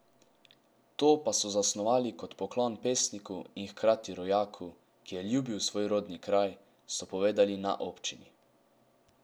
To pa so zasnovali kot poklon pesniku in hkrati rojaku, ki je ljubil svoj rodni kraj, so povedali na občini.